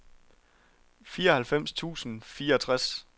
fireoghalvfems tusind og fireogtres